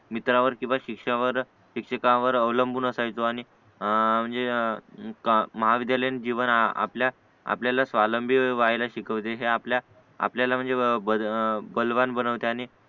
मित्रावर किंवा शिक्षकावर शिक्षकांवर अवलंबून असायचो आणि आ म्हणजे महाविद्यालयीन जीवन आपल्या आपल्याला स्वावलंबी व्हायला शिकवते हवं आपल्या आपल्याला म्हणजे बल बलवान बनवते आणि